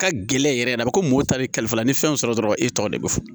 Ka gɛlɛn yɛrɛ yɛrɛ a bɛ ko mɔgɔw ta bilifa la ni fɛnw sɔrɔ dɔrɔn e tɔgɔ de bɛ fɔ